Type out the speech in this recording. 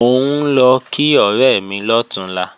Mò ń lọ kí ọ̀rẹ́ mi lọ̀túnla